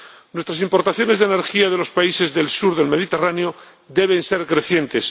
Nuestras importaciones de energía de los países del sur del Mediterráneo deben ser crecientes.